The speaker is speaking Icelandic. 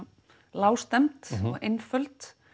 lágstemmd og einföld